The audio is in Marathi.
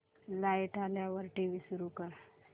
लाइट आल्यावर टीव्ही सुरू कर